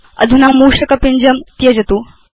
अधुना मूषक पिञ्जं त्यजतु